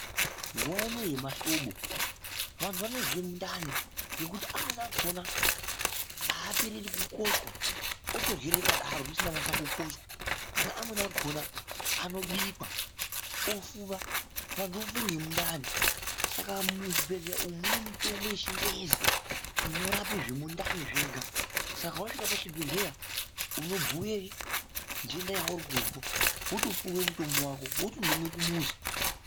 Nguva inoiyi yemahlobo vantu vanozwe mundani nekuti amweni akona hapereri kukochwa otorye rakadaro risina kunyase kukochwa. Kana amweni akona anobikwa ofuva antu ofa ngemundani. saka muzvibhedhleya umu mune mitombo yechingezi inorape zvemundani zvega. Saka vasvika pachibhedhleya unobhuye nhenda yauri kuzwa votopuve mutombo vako votondomwe kumuzi.